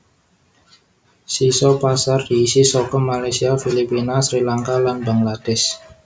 Sisa pasar diisi saka Malaysia Filipina Sri Lanka lan Bangladesh